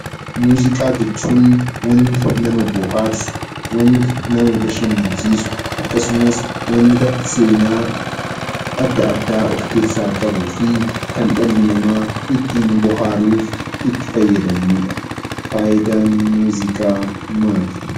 Muuziqaa jechuun wanta nama bohaarsu, wanta nama bashannansiisu akkasumas wanta seenaa adda addaa of keessaa qabuu fi kan dhalli namaa ittiin bohaaruuf itti fayyadamudha. Faayidaan muuziqaa maali?